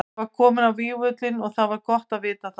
Ég var kominn á vígvöllinn og það var gott að vita það.